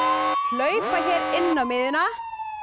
hlaupa hér inn á miðjuna